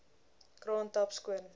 kraan tap skoon